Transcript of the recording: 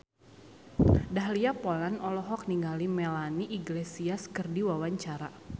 Dahlia Poland olohok ningali Melanie Iglesias keur diwawancara